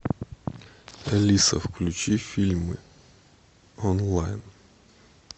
алиса включи фильмы онлайн